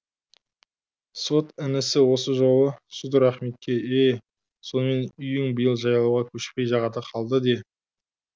сот інісі осы жолы судыр ахметке е е сонымен үйің биыл жайлауға көшпей жағада қалды де